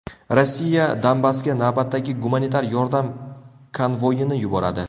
Rossiya Donbassga navbatdagi gumanitar yordam konvoyini yuboradi.